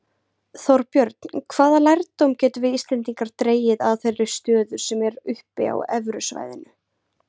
Þorbjörn, hvaða lærdóm getum við Íslendingar dregið að þeirri stöðu sem er uppi á evrusvæðinu?